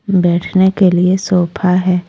बैठने के लिए सोफा है।